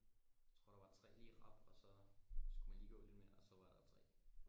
Jeg tror der var lige tre i rap og så skulle man lige gå lidt mere og så var der tre